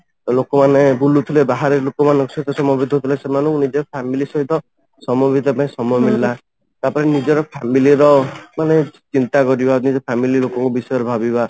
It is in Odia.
ଲୋକ ମାନେ ବୁଲୁଥିଲେ ବାହାରେ ଲୋକ ମାନଙ୍କ ସହିତ ସମୟ ବିତାଉଥିଲେ ସେମାନଙ୍କୁ ନିଜ family ସହିତ ସମୟ ବିତେଇବା ପାଇଁ ସମୟ ମିଳିଲା ତାପରେ ନିଜର family ର ମାନେ ଚିନ୍ତା କରିବା ନିଜ family ର କୋଉ ବିଷୟରେ ଭାବିବା